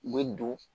U bɛ don